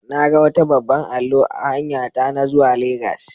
Na ga wata babban allo a hanyata na zuwa legas.